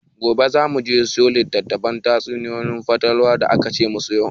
Gobe za mu je mu siyo littafin tatsuniyar fatalwa da akace mu siya.